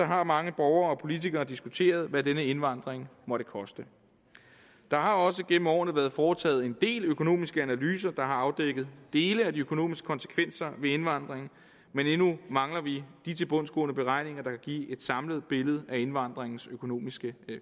har mange borgere og politikere diskuteret hvad denne indvandring måtte koste der har også gennem årene været foretaget en del økonomiske analyser der har afdækket dele af de økonomiske konsekvenser ved indvandring men endnu mangler vi de tilbundsgående beregninger der kan give et samlet billede af indvandringens økonomiske